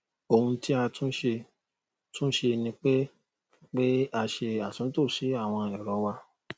ohun tí a tún ṣe tún ṣe ni pé pé a ṣe àtúntò sí àwọn ẹrọ wa